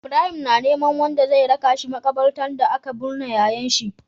Ibrahim na neman wanda zai raka shi makabartar da aka bunne yayan shi